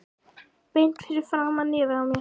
Beint fyrir framan nefið á mér!